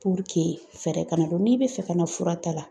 fɛɛrɛ kana dɔn; n'i bɛ fɛ ka na fura ta la